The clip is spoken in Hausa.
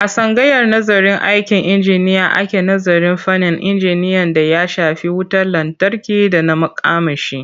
A tsangayar nazarın aikin injiniya ake nazarin fannin injiniyan d aya shafi wutar lantarki da na makamashi.